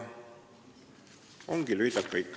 Ongi lühidalt kõik.